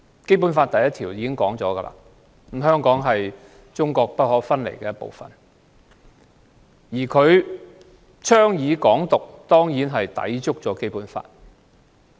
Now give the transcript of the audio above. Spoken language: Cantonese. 《基本法》第一條說明，香港是中國不可分離的一部分；他倡議"港獨"，當然抵觸《基本法》。